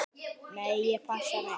Nei, ég passa mig.